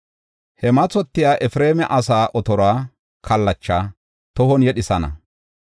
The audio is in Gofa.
He mathotiya Efreema asaa otoruwa kallachay tohon yedhethana.